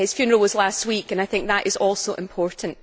His funeral was last week and I think that is also important.